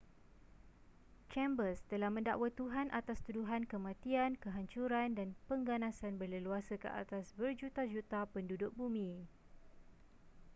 chambers telah mendakwa tuhan atas tuduhan kematian kehancuran dan pengganasan berleluasa ke atas berjuta-juta penduduk bumi